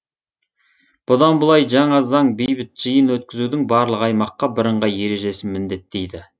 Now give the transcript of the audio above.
бұдан былай жаңа заң бейбіт жиын өткізудің барлық аймаққа бірыңғай ережесін міндеттейді